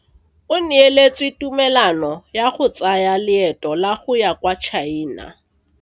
O neetswe tumalano ya go tsaya loeto la go ya kwa China.